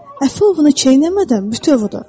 "Əfi ovunu çeynəmədən bütöv udur."